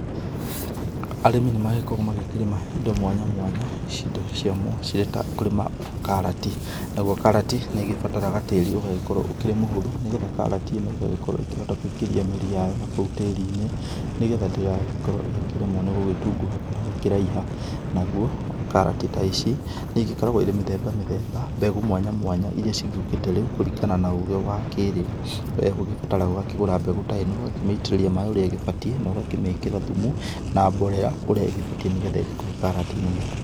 Arĩmi nĩmagĩkoragwo makĩrĩma indo mwanya mwanya indo cirĩ ta kũrĩma ta karati, naguo karati nĩigĩbataraa tĩri ũgagĩkorwo ũkĩrĩ mũhũthũ, nĩgetha karati ĩno ĩgagĩkorwo ĩkĩhota kũingĩria mĩri yayo na kũu tĩri-inĩ, nĩgetha ndĩgagĩkorwo ĩkĩremwo nĩ gũgĩtunguha, kana gũkĩraiha. Naguo karati ta ici nĩigĩkoragwo irĩ mĩthemba mĩthemba, mbegũ mwanya mwanya iria cigĩũkĩte rĩu kũringana na ũgĩ wa kĩrĩu, kũrĩa ũrabatara kũgũra mbegũ ta ĩno ũgakĩmĩitĩrĩria maaĩ ũrĩa ĩgĩbatiĩ, na ũgakĩmĩkĩra thumu na mborera ũrĩa ĩgĩbatiĩ, nĩgetha ĩkũhe karati nene.